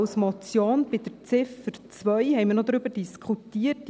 Bei Ziffer 2 haben wir noch über Folgendes diskutiert.